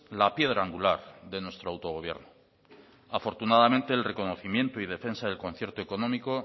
la piedra angular de nuestro autogobierno afortunadamente el reconocimiento y defensa del concierto económico